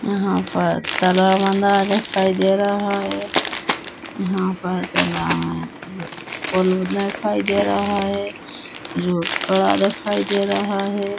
यहाँ पर तालब मदा दिखाई दे रहा है यहाँ पर तलाब है पुलने दिखाई दे रहा है रोड खड़ा दिखाई दे रहा है।